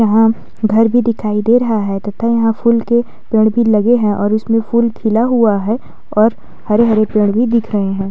यहाँ घर भी दिखाई दे रहा है तथा यहाँ फूल के पेड़ भी लगे हैं और इसमें फूल खिला हुआ है और हरे-हरे पेड़ भी दिख रहे हैं।